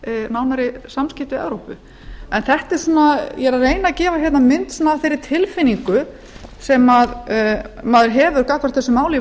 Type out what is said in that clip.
nánari samskipti við evrópu ég er að reyna að gefa mynd fyrir tilfinningu sem maður hefur gagnvart þessu máli í